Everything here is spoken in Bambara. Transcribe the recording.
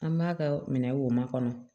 An b'a kɛ minɛ wo makɔnɔ